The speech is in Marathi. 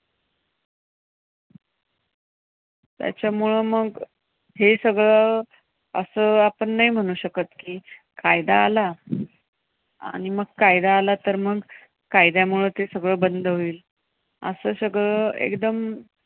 त्याच्यामुळे मग हे सगळं असं आपण नाही म्हणू शकत की कायदा आला आणि मग कायदा आला तर मग कायद्यामुळे ते सगळं बंद होईल. असं सगळं एकदम